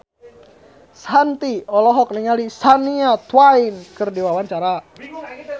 Shanti olohok ningali Shania Twain keur diwawancara